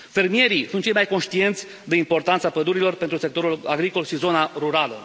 Fermierii sunt cei mai conștienți de importanța pădurilor pentru sectorul agricol și zona rurală.